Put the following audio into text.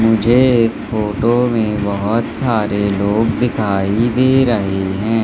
मुझे इस फोटो में बहोत सारे लोग दिखाई दे रहे हैं।